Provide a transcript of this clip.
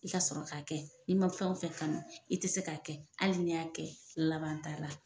I ka sɔrɔ k'a kɛ n'i ma fɛn o fɛn kanu, i tɛ se k'a kɛ, hali n'i y'a kɛ, laban t'a la.